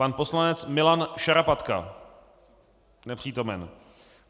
Pan poslanec Milan Šarapatka: Nepřítomen.